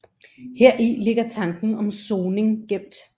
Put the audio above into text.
Heri ligger tanken om soning gemt